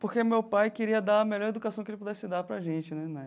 Porque meu pai queria dar a melhor educação que ele pudesse dar para a gente né